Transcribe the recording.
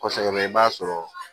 Kɔsɛbɛ i b'a sɔrɔ